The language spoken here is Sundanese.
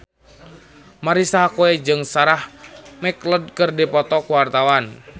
Marisa Haque jeung Sarah McLeod keur dipoto ku wartawan